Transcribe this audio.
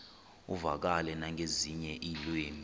uvakale nangezinye iilwimi